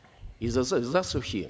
из за засухи